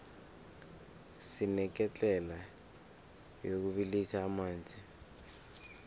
sineketlela yokubilisa amanzi